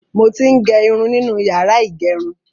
Mo ti ń gẹ irun nínú yàrá ìgẹrun.